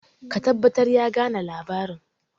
ka tabbatar ya gane labarin!